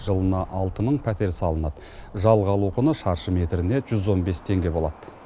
жылына алты мың пәтер салынады жалға алу құны шаршы метріне жүз он бес теңге болады